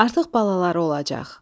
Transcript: Artıq balaları olacaq.